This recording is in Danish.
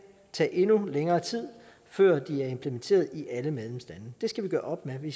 tage endnu længere tid før de er implementeret i alle medlemslande det skal vi gøre op med vi